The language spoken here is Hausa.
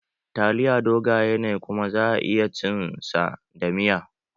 Taliya dogaye ne kuma za a iya cin sa da miya